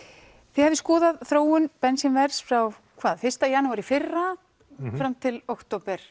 þið hafið skoðað þróun bensínverðs frá fyrsta janúar í fyrra fram til